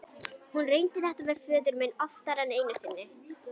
Hún reyndi þetta við föður minn oftar en einu sinni.